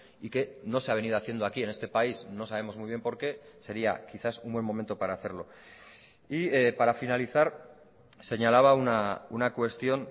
y que no se ha venido haciendo aquí en este país no sabemos muy bien por qué sería quizás un buen momento para hacerlo y para finalizar señalaba una cuestión